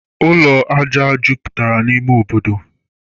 Ụlọ aja jupụtara n'ime obodo